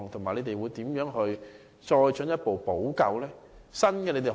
你們會如何作進一步補救？